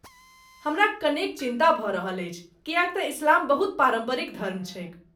हमरा कनेक चिन्ता भऽ रहल अछि किएक तँ इस्लाम बहुत पारम्परिक धर्म छैक।